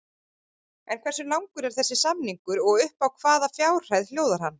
En hversu langur er þessi samningur og upp á hvaða fjárhæð hljóðar hann?